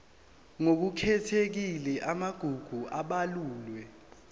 ngokukhethekile amagugu abalulwe